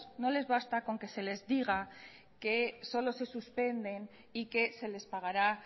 no les basta con que se les diga que solo se suspenden y que se les pagará